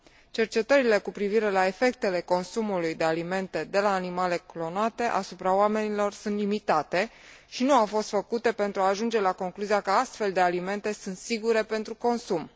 Cercetările cu privire la efectele consumului de alimente de la animale clonate asupra oamenilor sunt limitate și nu au fost făcute pentru a ajunge la concluzia că astfel de alimente sunt sigure pentru consum.